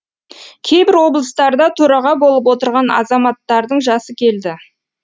кейбір облыстарда төраға болып отырған азаматтардың жасы келді